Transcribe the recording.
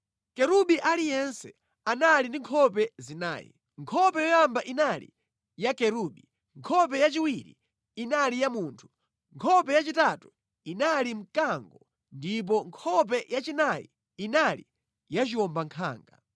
Kerubi aliyense anali ndi nkhope zinayi. Nkhope yoyamba inali ya Kerubi, nkhope yachiwiri inali ya munthu, nkhope yachitatu inali ya mkango ndipo nkhope yachinayi inali ya chiwombankhanga.